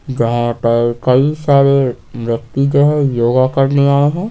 जहां पर कई सारे व्यक्ति जो है योगा करने आए हैं।